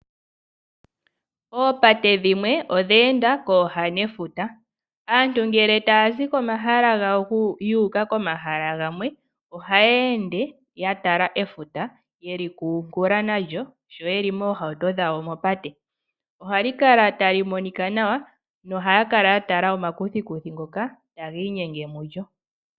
Oopate dhimwe odhe enda kooha nefuta. Aantu ngele tayazi komahala gawo yuuka komahala gamwe, ohayeende yatala efuta, taya kunkula nalyo, sho yeli moohauto dhawo mopate. Ohali kala tali monika nawa, nohaya kala yatala omakuthikuthi ngoka tagiinyenge mulyo.